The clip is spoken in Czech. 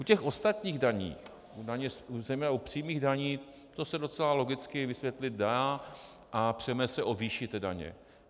U těch ostatních daní, zejména u přímých daní, to se docela logicky vysvětlit dá a přeme se o výši té daně.